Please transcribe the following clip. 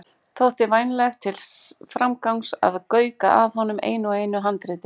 Þótti vænlegt til framgangs að gauka að honum einu og einu handriti.